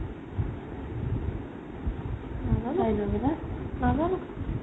নাজানো নাজানো